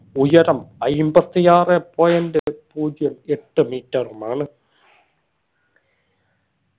ഉയരം അയിമ്പതി ആറ് point പൂജ്യം എട്ട് metre ഉമാണ്